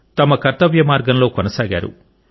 తమ కర్తవ్య మార్గంలో కొనసాగారు